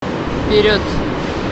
вперед